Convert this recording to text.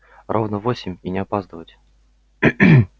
ровно в восемь и не опаздывать